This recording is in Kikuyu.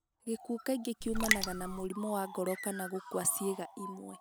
gĩkuũ kaingĩ kĩumanaga na mũrimũ wa ngoro kana gũkua ciĩga imwe.